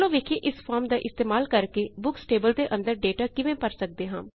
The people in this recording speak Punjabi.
ਚਲੋ ਵੋਖਿਏ ਇਸ ਫੋਰਮ ਦਾ ਇਸਤੇਮਾਲ ਕਰਕੇ ਬੁਕਸ ਟੇਬਲ ਦੇ ਅੰਦਰ ਡੇਟਾ ਕਿਵੇਂ ਭਰ ਸਕਦੇ ਹਾਂ